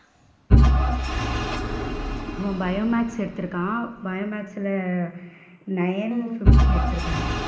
அவன் bio maths எடுத்து இருக்கான் bio maths ல nine fifty எடுத்து இருக்கான்.